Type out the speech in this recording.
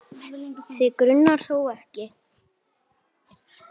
Þig grunar þó ekki?.